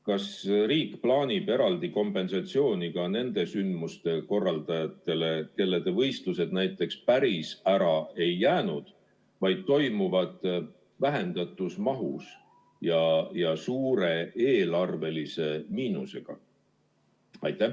Kas riik plaanib eraldi kompensatsiooni ka nende sündmuste korraldajatele, kelle võistlused päris ära ei jää, vaid toimuvad vähendatud mahus ja suure eelarvelise miinusega?